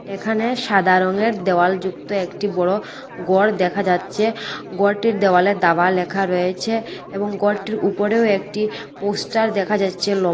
এখানে সাদা রংয়ের দেওয়াল যুক্ত একটি বড় গর দেখা যাচ্চে গরটির দেওয়ালে দাবা লেখা রয়েছে এবং গরটির উপরেও একটি পোস্টার দেখা যাইচ্ছে লম--